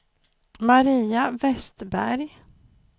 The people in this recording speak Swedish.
Maria Vestberg